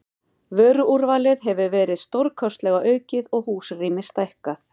Vöruúrvalið hefur verið stórlega aukið og húsrými stækkað.